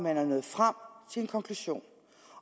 er man nået frem til en konklusion